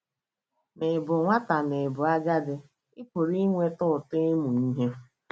Ma Ị̀ Bụ Nwata Ma Ị̀ Bụ Agadi — Ị pụrụ ịnweta ụtọ ịmụ ihe